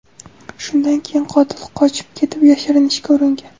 Shundan keyin qotil qochib ketib yashirinishga uringan.